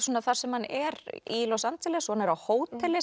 þar sem hann er í Los Angeles og hann er á hóteli